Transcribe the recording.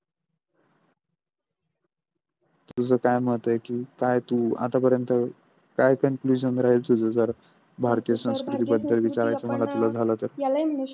तुझं काय मत आहे की काय तू आतापर्यंत का Confusion राहील तुझ जर भारतीय संस्कृती बद्दल विचारायचं मानायचं झाल तर